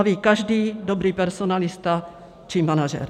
To ví každý dobrý personalista či manažer.